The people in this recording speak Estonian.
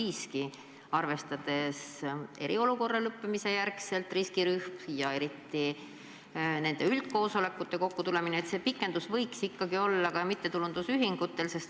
Ka pärast eriolukorra lõppu on nad siiski riskirühm ja nende üldkoosolekute kokkutulemine on raskendatud.